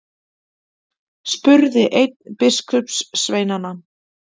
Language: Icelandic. spurði einn biskupssveinanna.